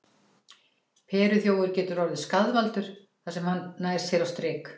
Perluþjófur getur orðið skaðvaldur þar sem hann nær sér á strik.